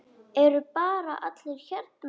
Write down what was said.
Eru bara allir hérna?